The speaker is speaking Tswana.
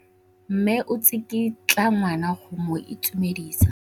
Mme o tsikitla ngwana go mo itumedisa.